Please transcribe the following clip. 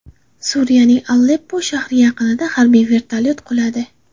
Suriyaning Aleppo shahri yaqinida harbiy vertolyot quladi.